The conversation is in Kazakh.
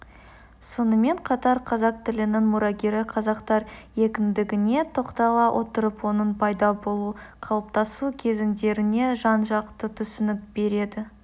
сонымен қатар қазақ тілінің мұрагері қазақтар екендігіне тоқтала отырып оның пайда болу қалыптасу кезеңдеріне жан-жақты түсінік береді